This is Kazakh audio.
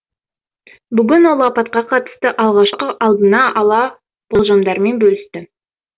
бүгін ол апатқа қатысты алғашқы алдына ала болжамдармен бөлісті